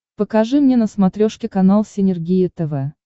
покажи мне на смотрешке канал синергия тв